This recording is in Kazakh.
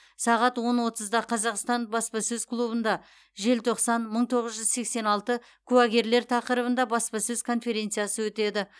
сағат он отызда қазақстан баспасөз клубында желтоқсан мың тоғыз жүз сексен алты куәгерлер тақырыбында баспасөз конференциясы өтеді